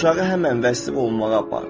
Uşağı həmən vəsti olunmağa apar.